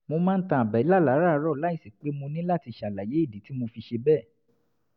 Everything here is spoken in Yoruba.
mo máa ń tan àbẹ́là láràárọ̀ láìsí pé mo ní láti ṣàlàyé ìdí tí mo fi ṣe bẹ́ẹ̀